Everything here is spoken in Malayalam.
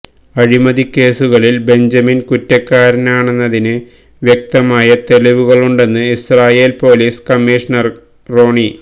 അഴിമതിക്കേസുകളില് ബെഞ്ചമിന് കുറ്റക്കാരാനാണെന്നതിന് വ്യക്തമായ തെളിവുകളുണ്ടെന്ന് ഇസ്രാഈല് പൊലീസ് കമ്മീഷ്ണര് റോണി